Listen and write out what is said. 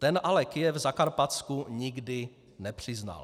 Ten ale Kyjev Zakarpatsku nikdy nepřiznal.